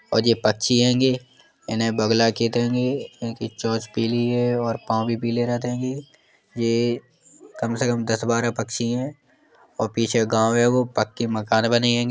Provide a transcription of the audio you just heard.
और यह पकछि हैंगे। इन्हें बगुला कहते हैंगे। इनकी चोंच पीली है और पाँव भी पीले रहत हेंगे। ये कम से कम दस बारह पकछि है और पीछे गांव है वो पक्के मकान बने हेंगे। --